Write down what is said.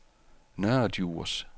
Nørre Djurs